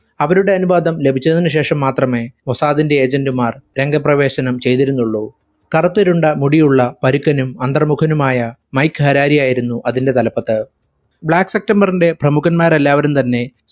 അവരുടെ അനുവാദം ലഭിച്ചതിനു ശേഷം മാത്രമേ മൊസാദിന്റെ agent മാർ രംഗപ്രവേശനം ചെയ്തിരുന്നുള്ളു. കറുത്തിരുണ്ട മുടിയുള്ള പരുക്കനും അന്തർമുഖനുമായ മൈക്ക് ഹെരാരിയായിരുന്നു അതിന്റെ തലപ്പത്. black september ഇന്റെ പ്രമുഖന്മാരെല്ലാരും തന്നെ